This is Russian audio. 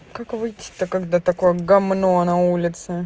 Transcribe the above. как выйти то когда такое гамно на улице